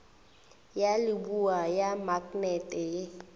ya leboa ya maknete ye